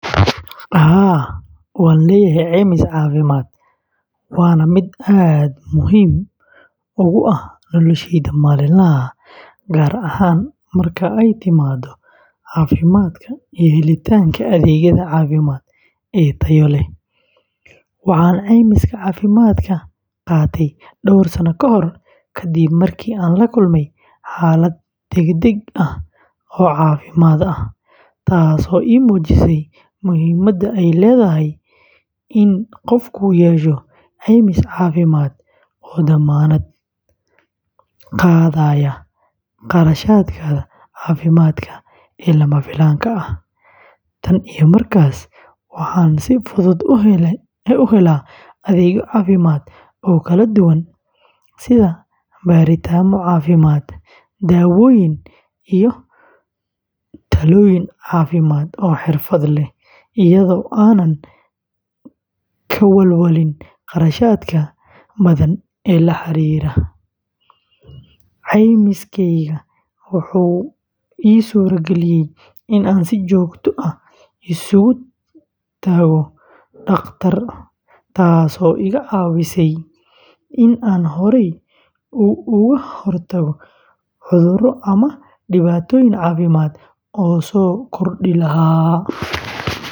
Haa, waan leeyahay caymis caafimaad, waana mid aad muhiim ugu ah noloshayda maalinlaha ah, gaar ahaan marka ay timaado caafimaadka iyo helitaanka adeegyada caafimaad ee tayo leh. Waxaan caymiska caafimaadka qaatay dhowr sano kahor, ka dib markii aan la kulmay xaalad degdeg ah oo caafimaad ah, taasoo ii muujisay muhiimadda ay leedahay in qofku yeesho caymis caafimaad oo damaanad qaadaya kharashaadka caafimaad ee lama filaanka ah. Tan iyo markaas, waxaan si fudud u helaa adeegyo caafimaad oo kala duwan sida baaritaanno caafimaad, daawooyin, iyo talooyin caafimaad oo xirfad leh, iyada oo aanan ka walwalin kharashaadka badan ee la xiriira. Caymiskayga wuxuu ii suura galiyay in aan si joogto ah isugu tago dhakhtar, taasoo iga caawisay in aan horay uga hortago cudurro ama dhibaatooyin caafimaad oo soo kordhi lahaa.